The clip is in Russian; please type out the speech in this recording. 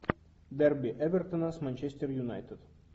дерби эвертона с манчестер юнайтед